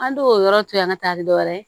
An t'o yɔrɔ to yen an ka taa ni dɔwɛrɛ ye